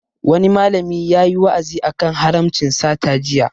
Wani malami yayi wa'azi a kan haramcin sata jiya